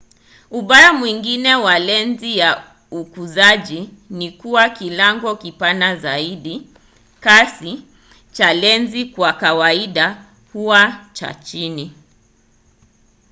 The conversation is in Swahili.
ubaya mwingine wa lenzi za ukuzaji ni kuwa kilango kipana zaidi kasi cha lenzi kwa kawaida huwa cha chini